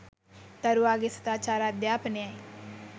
දරුවාගේ සදාචාර අධ්‍යාපනයයි.